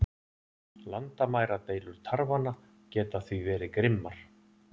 Landamæradeilur tarfanna geta því verið grimmar.